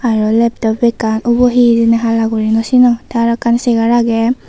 aro leptop ekkan ubo hee hijeni hala gurine no sinongor te aro ekkan segar age.